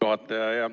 Hea juhataja!